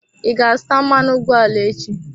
I ga-azụta mmanụ ụgbọala echi?